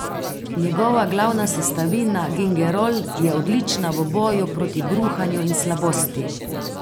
Njegova glavna sestavina gingerol je odlična v boju proti bruhanju in slabosti.